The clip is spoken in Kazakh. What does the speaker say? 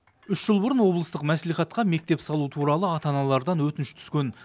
үш жыл бұрын облыстық мәслихатқа мектеп салу туралы ата аналардан өтініш түскен